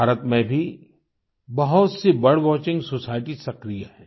भारत में भी बहुतसी बर्ड वॉचिंग सोसाइटी सक्रिय हैं